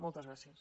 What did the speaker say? moltes gràcies